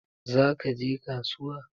Za ka je kasuwa?